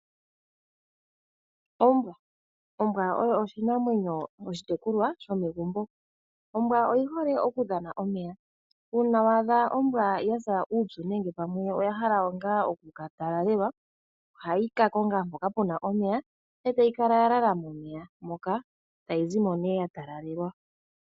Ombwa. Ombwa oyo oshinamwenyo oshitekulwa shomegumbo, ombwa oyi hole okudhana omeya, uuna wa adha ombwa ya sa uupyu nenge pamwe oya hala nga oku ka talalelwa, ohayi ka konga mpoka pu na omeya, e tayi kala ya lala momeya moka, tayi zi mo ne ya talalelwa.